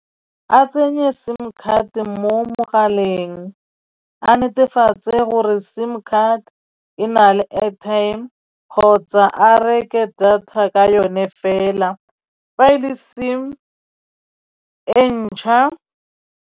A tsenye sim card mo mogaleng a netefatse gore sim card e na le airtime kgotsa a reke data ka yone fela fa e le sim e ntšha.